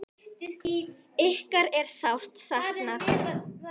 Ykkar er sárt saknað.